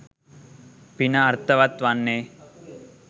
පින අර්ථවත් වන්නේ.